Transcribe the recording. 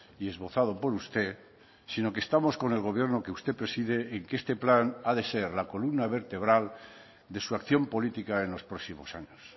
y esbozado por usted sino que estamos con el gobierno que usted preside en que este plan ha de ser la columna vertebral de su acción política en los próximos años